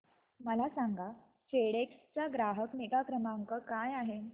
मला सांगा फेडेक्स चा ग्राहक निगा क्रमांक काय आहे